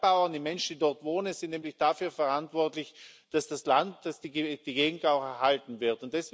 Die Bergbauern, die Menschen, die dort wohnen, sind nämlich dafür verantwortlich, dass das Land, dass die Gegend auch erhalten wird.